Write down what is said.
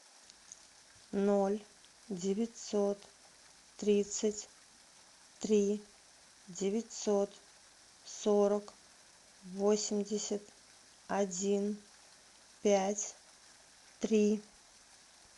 ноль девятьсот тридцать три девятьсот сорок восемьдесят один пять три